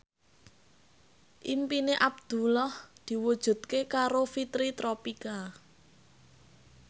impine Abdullah diwujudke karo Fitri Tropika